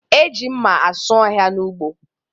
E ji mma asụ ọhịa n'ụgbọ